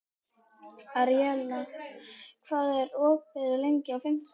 Aríela, hvað er opið lengi á fimmtudaginn?